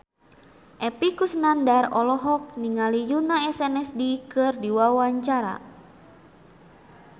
Epy Kusnandar olohok ningali Yoona SNSD keur diwawancara